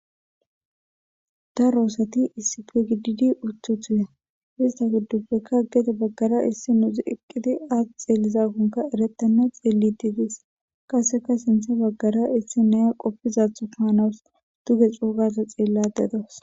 daroosati issife gididi uttu thuya ista guddupfekka aggede baggara issi nuuzi eqqidi aat xeellizakkonka erettanna xeelli diidis qaseka sintha baggara issi naya qoppizathu kaanaws duge xoogaza xeella dedos